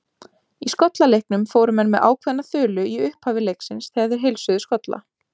Í skollaleiknum fóru menn með ákveðna þulu í upphafi leiksins þegar þeir heilsuðu skolla.